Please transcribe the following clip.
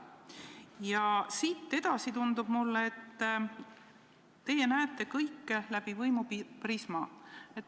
Ja siit edasi tundub mulle, et teie näete kõike läbi võimuprisma.